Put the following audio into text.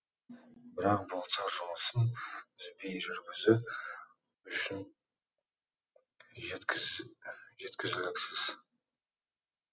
бірақ бұл цех жұмысын үзбей жүргізу үшін жеткізіліксіз